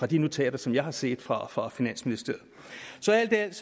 de notater som jeg har set fra fra finansministeriet så alt i alt